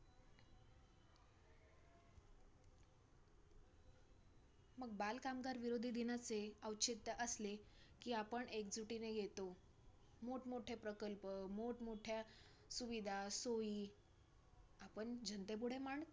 मग बाल कामगारविरोधी दिनाचे औचित्य असले, कि आपण एकजुटीने येतो मोठं-मोठे प्रकल्प, मोठं-मोठ्या सुविधा, सोयी आपण जनतेपुढे मांडतो,